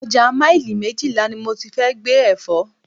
Ọjà maili méjìlá ni mo ti fẹ́ gbé Ẹ̀fọ́.